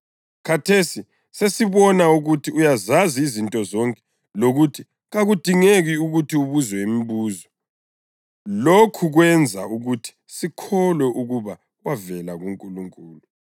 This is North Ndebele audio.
Khathesi sesibona ukuthi uyazazi izinto zonke lokuthi kakudingeki ukuthi ubuzwe imibuzo. Lokhu kwenza ukuthi sikholwe ukuba wavela kuNkulunkulu.”